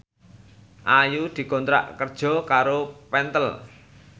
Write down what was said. Ayu dikontrak kerja karo Pentel